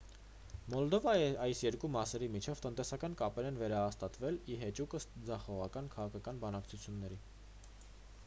մոլդովայի այս երկու մասերի միջև տնտեսական կապեր են վերահաստատվել ի հեճուկս ձախողված քաղաքական բանակցությունների